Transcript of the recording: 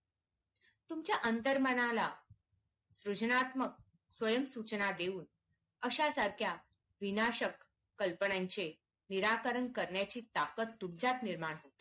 तुमच्या आंतर मनाला सूचनात्मक स्वयंम सूचना देऊन अशा सारख्या विनाशक कल्पनांचे निराकरण करण्याचे ताकद तुमच्यात निर्माण